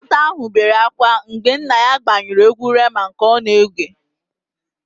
Nwata áhụ̀ bere ákwá mgbe nna ya gbanyụrụ égwú Rema nke ọ na-ege.